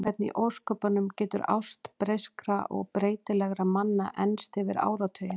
Hvernig í ósköpunum getur ást breyskra og breytilegra manna enst yfir áratugina?